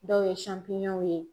Dɔw ye ye.